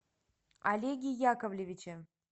олеге яковлевиче